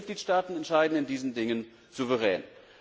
Unsere Mitgliedstaaten entscheiden in diesen Dingen souverän.